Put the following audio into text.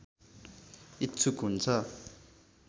इच्छुक हुन्छ